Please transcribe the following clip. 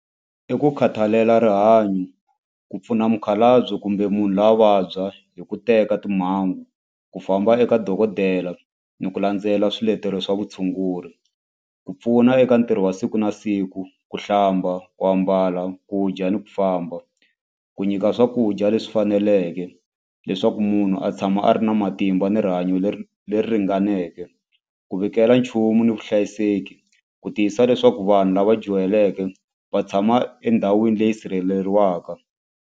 I ku khathalela rihanyo ku pfuna mukhalabye kumbe munhu loyi a vabya hi ku teka timhangu ku famba eka dokodela ni ku landzela swiletelo swa vutshunguri ku pfuna eka ntirho wa siku na siku ku hlamba ku ambala ku dya ni ku famba ku nyika swakudya leswi faneleke leswaku munhu a tshama a ri na matimba ni rihanyo leri leri ringaneke ku vikela nchumu ni vuhlayiseki ku tiyisisa leswaku vanhu lava dyuhaleke va tshama endhawini leyi sirheleriwaka.